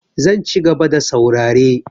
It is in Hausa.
Zan cigaba da saurare.